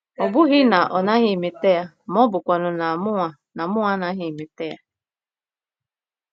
Ọ bụghị na ọ naghị emeta ya ma ọ bụkwanụ na mụnwa na mụnwa anaghị emeta ya.